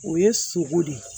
O ye sogo de